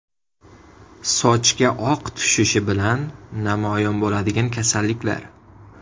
Sochga oq tushishi bilan namoyon bo‘ladigan kasalliklar.